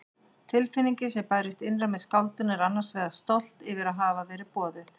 Tilfinningin sem bærist innra með skáldinu er annars vegar stolt yfir að hafa verið boðið.